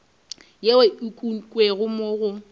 yeo e ukangwego mo go